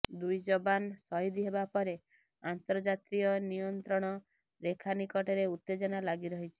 ଦୁଇ ଯବାନ ଶହୀଦ ହେବା ପରେ ଅନ୍ତର୍ଜାତୀୟ ନିୟନ୍ତ୍ରଣ ରେଖା ନିକଟରେ ଉତ୍ତେଜନା ଲାଗିରହିଛି